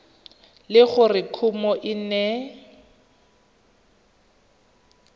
le gore kumo e ne